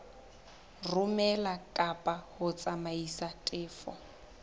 romela kapa ho tsamaisa tefo